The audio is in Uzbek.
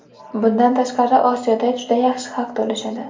Bundan tashqari, Osiyoda juda yaxshi haq to‘lashadi.